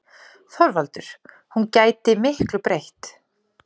ÞORVALDUR: Hún gæti miklu breytt.